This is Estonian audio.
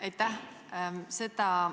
Aitäh!